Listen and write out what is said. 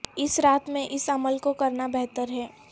اس رات میں اس عمل کو کرنا بہتر ہے